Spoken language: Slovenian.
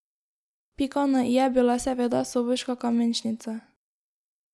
Pika na i je bila seveda Soboška kamenšnica.